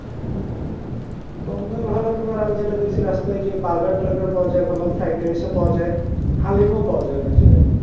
কম দামে ভালো খাবার আমি যেটা দেখছি রাস্তায় যে burger টারগার পাওয়া যায় ভালো fried rice ও পাওয়া যায় হালিম ও পাওয়া যায় অনেক জায়গায়